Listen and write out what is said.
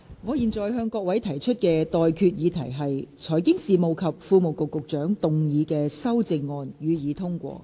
我現在向各位提出的待決議題是：財經事務及庫務局局長動議的修正案，予以通過。